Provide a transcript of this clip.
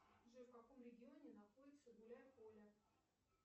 джой в каком регионе находится гуляй поле